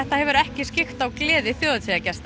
hefur ekki skyggt á gleði hátíðargesta